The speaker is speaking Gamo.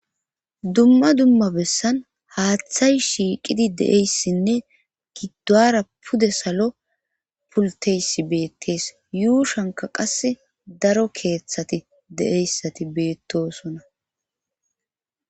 Dumma dumma bessan haaththay shiiqidi deeyssinne giddaara pude salo pulteysi beettees yuu shanka qas daro keeththati de'eyssati beettosona.